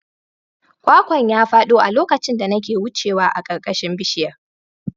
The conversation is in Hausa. Kwakwan ya fado a lokacin da nake wucewa a ƙarƙashin bishiyar.